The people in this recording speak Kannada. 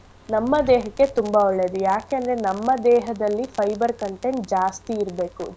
ನಮ್ಮ ದೇಹಕ್ಕೆ ತುಂಬಾ ಒಳ್ಳೇದು ಯಾಕೇಂದ್ರೆ ನಮ್ಮ ದೇಹದಲ್ಲಿ fiber content ಜಾಸ್ತಿ ಇರ್ಬೇಕು.